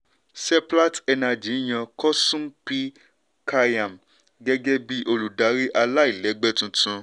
seplat energy yan koosum p. kalyan gẹ́gẹ́ bí olùdarí aláìlẹ́gbẹ́ tuntun.